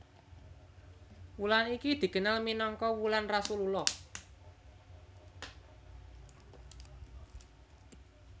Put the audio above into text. Wulan iki dikenal minangka wulan Rasulullah